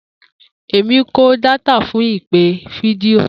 Emi ko data fun ipe fidio.